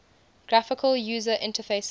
graphical user interfaces